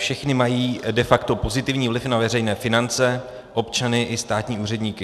Všechny mají de facto pozitivní vliv na veřejné finance, občany i státní úředníky.